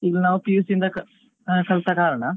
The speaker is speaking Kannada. ಇಲ್ಲಿ ನಾವ್ PUC ಇಂದ ಕಲ್ತ ಕಾರಣ